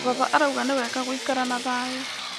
Baba arauga nĩ wega gũikara na thayũ.